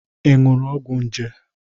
Ị ñụrụ ọgwọ nje?